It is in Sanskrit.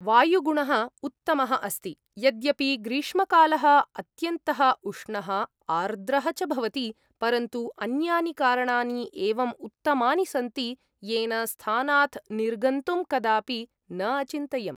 वायुगुणः उत्तमः अस्ति, यद्यपि ग्रीष्मकालः अत्यन्तः उष्णः आर्द्रः च भवति, परन्तु अन्यानि कारणानि एवम् उत्तमानि सन्ति, येन स्थानात् निर्गन्तुं कदापि न अचिन्तयम्।